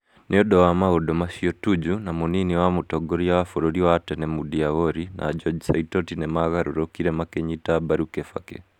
Nĩ ũndũ wa maũndũ macio Tuju, na mũnini wa mũtongoria wa bũrũrimwa tene Moody Awori na George Saitoti nĩ maagarũrũkire makĩnyita mbaru Kibaki.